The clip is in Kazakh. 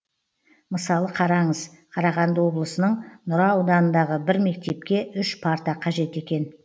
мысалы қараңыз қарағанды облысының нұра ауданындағы бір мектепке үш парта қажет екен